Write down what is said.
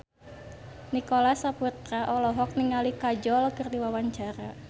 Nicholas Saputra olohok ningali Kajol keur diwawancara